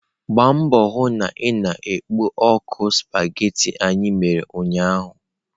Gbaa mbọ hụ na ị na-ekpo ọkụ spaghetị anyị mere ụnyaahụ!.